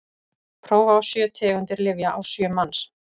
prófa á sjö tegundir lyfja á sjö manns